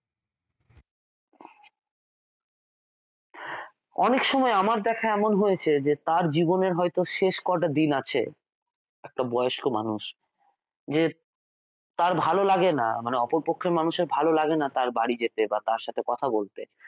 অনেক সময় আমার দেখা এমন হয়েছে যে তার জীবনে হয়ত শেষ কটা দিন আছে একটা বয়স্ক মানুষ যে তার ভালো লাগানে মানে অপরপক্ষের ভালো লাগেনা তার বাড়িতে যেতে বা তার সাথে কথা বলতে